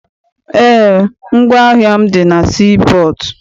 Eé, ngwaahịa m dị na sii pọọtụ.